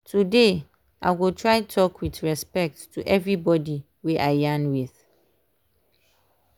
today i go try talk with respect to everybody wey i yarn with.